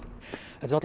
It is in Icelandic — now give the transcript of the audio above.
þetta er